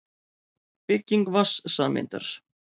Bygging vatnssameindar.